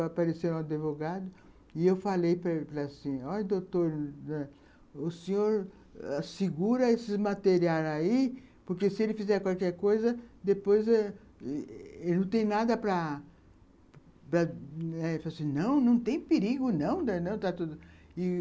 Apareceu um advogado e eu falei para ele assim, ó, doutor, o senhor segura esses materiais aí, porque, se ele fizer qualquer coisa, depois ãh ele não tem nada para... Ele falou assim, não, não tem perigo, não.